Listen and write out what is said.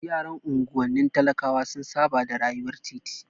Yaran unguwanni talakawa sun saba da rayuwar titi.